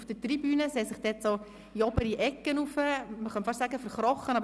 Auf der Tribüne haben sich einige Leute in der oberen Ecke fast ein wenig «verkrochen».